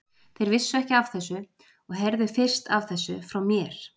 Þeir vissu ekki af þessu og heyrðu fyrst af þessu frá mér.